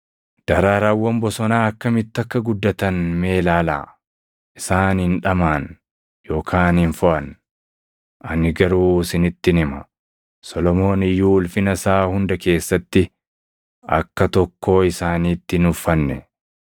“Daraaraawwan bosonaa akkamitti akka guddatan mee ilaalaa; isaan hin dhamaʼan yookaan hin foʼan. Ani garuu isinittin hima; Solomoon iyyuu ulfina isaa hunda keessatti, akka tokkoo isaaniitti hin uffanne.